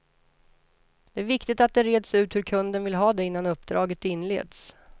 Det är viktigt att det reds ut hur kunden vill ha det innan uppdraget inleds.